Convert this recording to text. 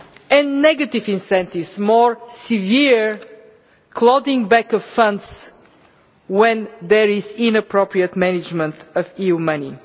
and negative incentives more severe clawing back of funds when there is inappropriate management of EU money.